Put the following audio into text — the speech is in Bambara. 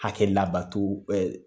Hakɛ labato ɛɛ